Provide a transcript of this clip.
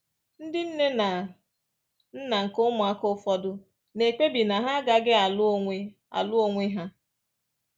Ndị nne na nna nke ụmụaka ụfọdụ na-ekpebi na ha agaghị alụ onwe alụ onwe ha